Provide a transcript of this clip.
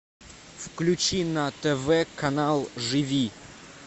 включи на тв канал живи